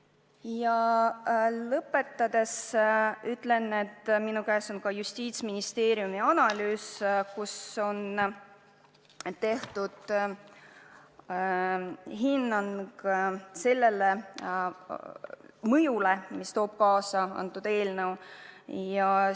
Ja lõpetuseks ma ütlen, et minu käes on ka Justiitsministeeriumi analüüs, kus on antud hinnang sellele mõjule, mida eelnõu saamine seaduseks kaasa tooks.